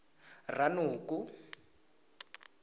ranoko